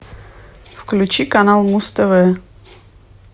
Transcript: включи канал муз тв